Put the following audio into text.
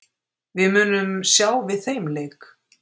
Við munum sjá við þeim leik!